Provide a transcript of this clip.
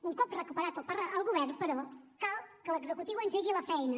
un cop recuperat el govern però cal que l’executiu engegui la feina